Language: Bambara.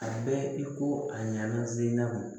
A bɛ i ko a ɲɛna selaw